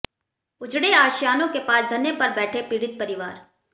उजड़े आशियानों के पास धरने पर बैठे पीड़ित परिवार